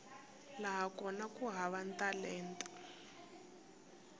laha kona ku hava talenta